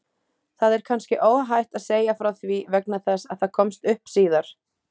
Það er kannski óhætt að segja frá því vegna þess að það komst upp síðar.